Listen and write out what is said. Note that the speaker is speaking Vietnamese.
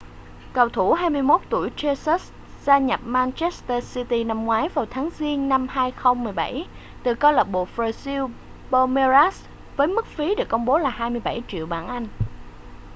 cầu thủ 21 tuổi jesus gia nhập manchester city năm ngoái vào tháng giêng năm 2017 từ câu lạc bộ brazil palmeiras với mức phí được công bố là 27 triệu bảng anh